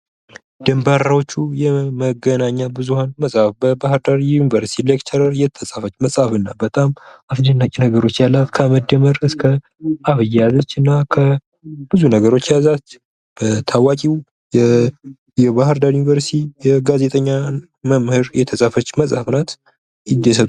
ድንበሮቹ የመገናኛ ብዙሃን መጽሐፍ በባሕር ዳር ዩኒቨርሲቲ ሌክቸረር የተጻፈች መጽሐፍ እና በጣም አስደናቂ ነገሮች ያላት ከመደመር እስከ አብይ ያለች እና ከ ብዙ ነገሮች የያዛት በታዋቂው የባህር ዳር ዩኒቨርሲቲ የጋዜጠኛ መምህር የተጻፈች መጽሐፍ ናት ይደሰቱ።